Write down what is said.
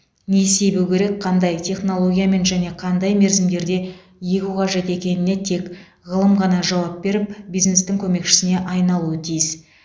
не себу керек қандай технологиямен және қандай мерзімдерде егу қажет екеніне тек ғылым ғана жауап беріп бизнестің көмекшісіне айналуы тиіс